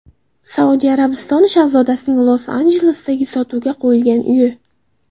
Saudiya Arabistoni shahzodasining Los-Anjelesdagi sotuvga qo‘yilgan uyi .